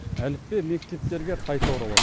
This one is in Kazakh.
әліппе мектептерге қайта оралады